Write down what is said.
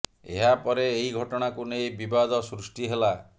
ଏହା ପରେ ଏହି ଘଟଣାକୁ ନେଇ ବିବାଦ ସୃଷ୍ଟି ହେଲା